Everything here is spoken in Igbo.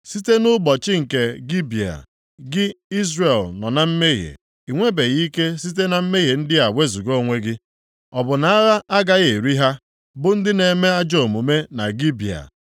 “Site nʼụbọchị nke Gibea, gị Izrel nọ na mmehie, i nwebeghị ike site na mmehie ndị a wezuga onwe gị. Ọ bụ na agha agaghị eri ha bụ ndị na-eme ajọọ omume na Gibea?